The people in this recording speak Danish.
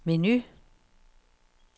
menu